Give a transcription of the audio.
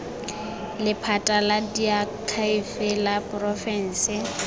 lephata la diakhaefe la porofense